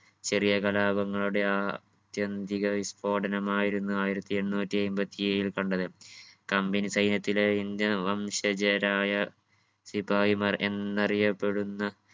ചെറിയ കലാപങ്ങളുടെ ആ ത്യന്തിക വിസ്ഫോടനം ആയിരുന്നു ആയിരത്തി എണ്ണൂറ്റി അയ്മ്പത്തി ഏഴിൽ കണ്ടത്. company സൈന്യത്തിലെ indian വംശജരായ സിപായിമാർ എന്നറിയപ്പെടുന്ന